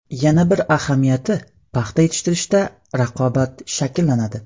Yana bir ahamiyati paxta yetishtirishda raqobat shakllanadi.